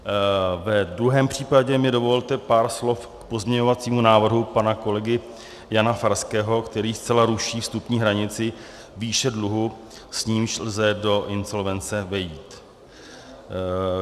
Ve druhém případě mi dovolte pár slov k pozměňovacímu návrhu pana kolegy Jana Farského, který zcela ruší vstupní hranici výše dluhu, s nímž lze do insolvence vejít.